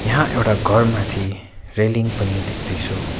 यहाँ एउटा घर माथि रेलिङ पनि देख्दैछु।